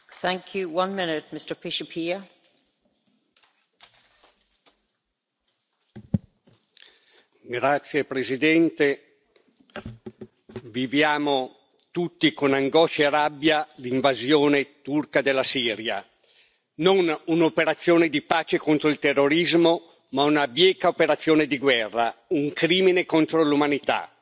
Signora Presidente, onorevoli colleghi, viviamo tutti con angoscia e rabbia l'invasione turca della Siria, non un'operazione di pace contro il terrorismo, ma una bieca operazione di guerra, un crimine contro l'umanità. Il popolo curdo è stato tradito, la comunità internazionale gli ha voltato vergognosamente le spalle,